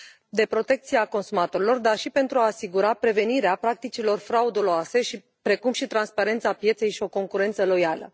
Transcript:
de protecție a consumatorilor, dar și pentru a asigura prevenirea practicilor frauduloase, precum și transparența pieței și o concurență loială.